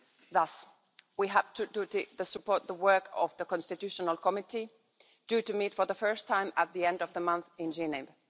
Thus, we have a duty to support the work of the Constitutional Committee due to meet for the first time at the end of the month in Geneva.